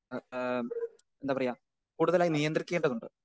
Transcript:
Speaker 2 ആ ആ എന്താ പറയുവാ കൂടുതലായി നിയന്ത്രിക്കേണ്ടതുണ്ട്.